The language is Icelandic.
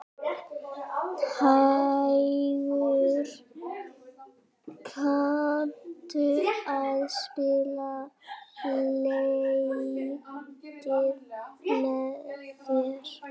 Hængur, kanntu að spila lagið „Með þér“?